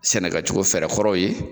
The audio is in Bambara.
Sɛnɛkɛcogo fɛɛrɛ kɔrɔ ye